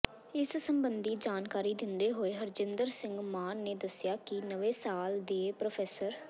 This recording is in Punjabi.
ਇਸ ਸਬੰਧੀ ਜਾਣਕਾਰੀ ਦਿੰਦੇ ਹੋਏ ਹਰਿੰਦਰ ਸਿੰਘ ਮਾਨ ਨੇ ਦੱਸਿਆ ਕਿ ਨਵੇਂ ਸਾਲ ਦੇ ਪ